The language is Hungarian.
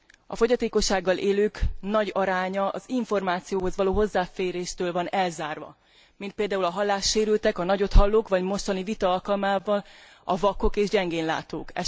A fogyatékossággal élők nagy aránya az információhoz való hozzáféréstől van elzárva, mint például a hallássérültek, a nagyothallók, vagy a mostani vita alkalmával a vakok és gyengén látók.